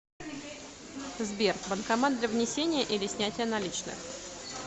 сбер банкомат для внесения или снятия наличных